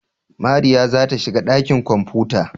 Mariya za ta shiga ɗakin kwamfuta.